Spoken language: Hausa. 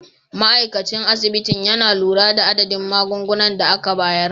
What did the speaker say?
Ma'aikacin asibitin yana lura da adadin magungunan da aka bayar.